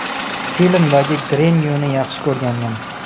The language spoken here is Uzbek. Filmdagi Grenuyni yaxshi ko‘rganman.